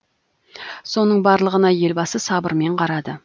соның барлығына елбасы сабырмен қарады